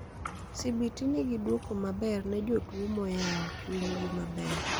CBT nigi duoko maber ne jotuo moyao chuny gi maber